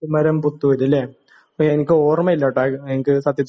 കുമരമ്പത്തൂര് ലെ ഇപ്പോ എനികോർമയില്ലാ ട്ടൊ എനിക്ക് സത്യത്തില്